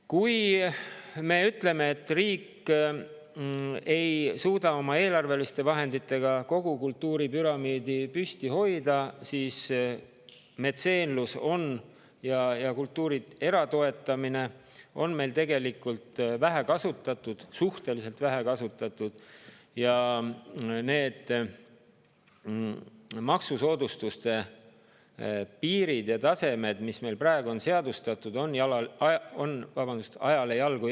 Kui me ütleme, et riik ei suuda oma eelarveliste vahenditega kogu kultuuripüramiidi püsti hoida, siis metseenlust ja kultuuri eratoetamist on meil tegelikult suhteliselt vähe kasutatud ning need maksusoodustuste piirid ja tasemed, mis meil praegu on seadustatud, on ajale jalgu jäänud.